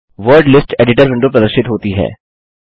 word list editor window प्रदर्शित होती है